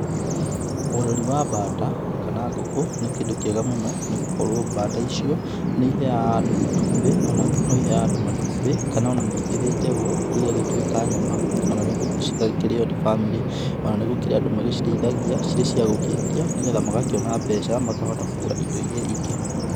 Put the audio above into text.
Ũreri wa mbata kana ngũkũ nĩ kĩndũ gĩa bata mũno, nĩ gũkorwo mbata icio nĩ iheaga andũ matumbĩ, ona ngũku no iheaga andũ matũmbĩ, kana ona nĩigĩthĩnjagwo igagĩtuĩka nyama ona nĩguo cigakĩrĩo ni bamĩrĩ. Ona nĩ gũkĩrĩ andũ magĩcirĩithagia ciĩ cia gũkĩendia nĩ getha magakĩona mbeca makahota kũgũra indo iria ingĩ.